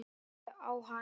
Horfið á hann.